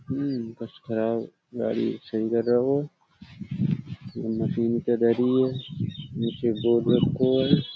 उम्म खराब गाड़ी सही कर रहो हो। वो मशीन है। नीचे बोर्ड रखो है।